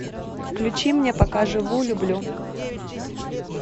включи мне пока живу люблю